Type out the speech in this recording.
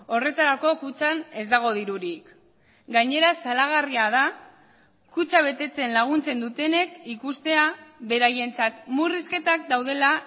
horretarako kutxan ez dago dirurik gainera salagarria da kutxa betetzen laguntzen dutenek ikustea beraientzat murrizketak daudela